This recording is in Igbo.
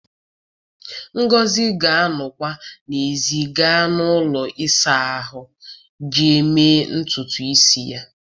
Ngọzi ga-anọkwa n'èzí gaa ụlọ ịsa ahụ iji mee ntutu isi ya